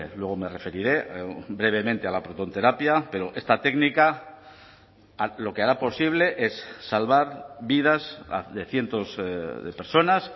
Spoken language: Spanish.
luego me referiré brevemente a la protonterapia pero esta técnica lo que hará posible es salvar vidas de cientos de personas